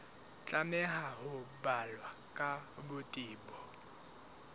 tlameha ho balwa ka botebo